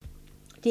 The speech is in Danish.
DR1